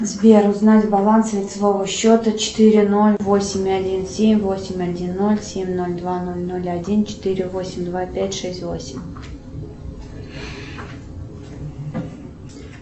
сбер узнать баланс лицевого счета четыре ноль восемь один семь восемь один ноль семь ноль два ноль ноль один четыре восемь два пять шесть восемь